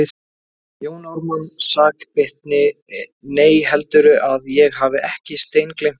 Jón Ármann sakbitinn:- Nei, heldurðu að ég hafi ekki steingleymt því.